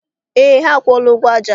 Eé, ha akwụọla ụgwọ aja.